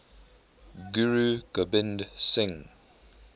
guru gobind singh